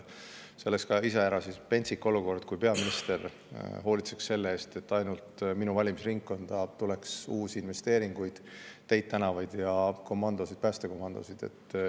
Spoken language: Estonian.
See oleks iseäranis pentsik, kui peaminister hoolitseks selle eest, et ainult tema valimisringkonda tuleks uusi investeeringuid, teid-tänavaid ja päästekomandosid.